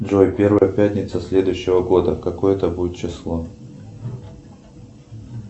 джой первая пятница следующего года какое это будет число